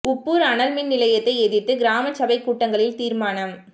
உப்பூா் அனல் மின் நிலையத்தை எதிா்த்து கிராம சபைக் கூட்டங்களில் தீா்மானம்